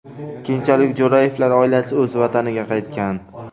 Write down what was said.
Keyinchalik Jo‘rayevlar oilasi o‘z vataniga qaytgan.